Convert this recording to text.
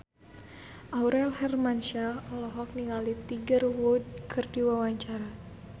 Aurel Hermansyah olohok ningali Tiger Wood keur diwawancara